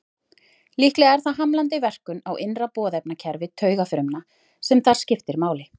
Líklega er það hamlandi verkun á innra boðefnakerfi taugafrumna sem þar skiptir máli.